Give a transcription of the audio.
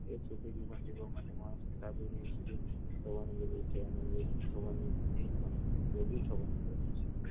એક છોટી દિમાગ થી કહું મને મારા પિતા હોસ્પિટલ યાદ રોગીષ્ટ થવાનું કહ્યું છે